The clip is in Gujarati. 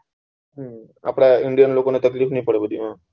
અમ આપડા indan લોકો ને તકલીફ નહી પાડવા દેવાની